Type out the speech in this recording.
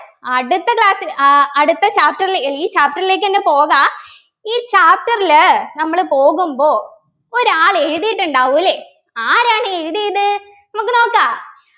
അടുത്ത Class ൽ ഏർ അടുത്ത Chapter ലെ ഈ Chapter ലേക്ക് പോകാ ഈ Chapter ല് നമ്മൾ പോകുമ്പോ ഒരാൾ എഴുതിയിട്ടുണ്ടാവു അല്ലേ ആരാണ് എഴുതിയത് നമുക്ക് നോക്കാ